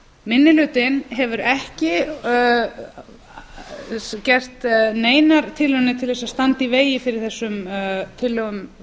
minni hlutinn hefur ekki gert neinar tilraunir til þess að standa í vegi fyrir þessum tillögum